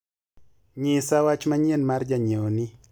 nyisa wach manyien mar janyiewo ni